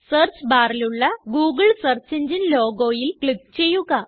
search ബാറിലുള്ള Google search എങ്ങിനെ logoയില് ക്ലിക്ക് ചെയ്യുക